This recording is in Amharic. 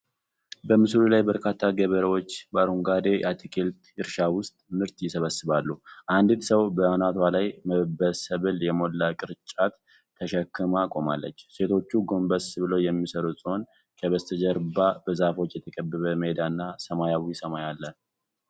በምስሉ ላይ በርካታ ገበሬዎች በአረንጓዴ የአትክልት እርሻ ውስጥ ምርት ይሰበስባሉ፤ አንዲት ሰው በአናቷ ላይ በሰብል የሞላ ቅርጫት ተሸክማ ቆማለች። ሴቶቹ ጎንበስ ብለው የሚሰሩ ሲሆን፣ ከበስተጀርባ በዛፎች የተከበበ ሜዳ እና ሰማያዊ ሰማይ አለ።